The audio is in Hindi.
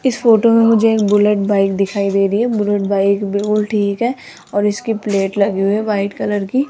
इस फोटो में मुझे एक बुलेट बाइक दिखाई दे री है बुलेट बाइक बिल्कुल ठीक ह और इसकी प्लेट लगी हुई है वाइट कलर की।